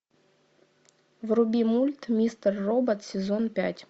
вруби мульт мистер робот сезон пять